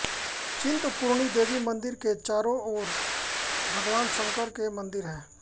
चिंतपूर्णी देवी मंदिर के चारो और भगवान शंकर के मंदिर है